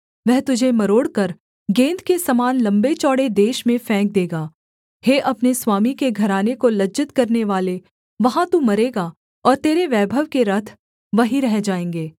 वह तुझे मरोड़कर गेन्द के समान लम्बे चौड़े देश में फेंक देगा हे अपने स्वामी के घराने को लज्जित करनेवाले वहाँ तू मरेगा और तेरे वैभव के रथ वहीं रह जाएँगे